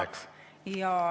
Aeg!